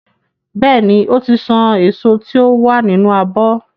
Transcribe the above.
Bẹ́ẹ̀ ni, ó ti san èso tí ó wà nínú abọ́.